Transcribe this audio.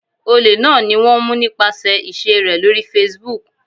Olè náà ni wón mú nípasẹ̀ ìṣe rè lórí Facebook.